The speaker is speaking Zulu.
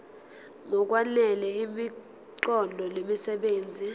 ngokwanele imiqondo nemisebenzi